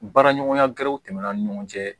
Baara ɲɔgɔnya gɛrɛw tɛmɛna an ni ɲɔgɔn cɛ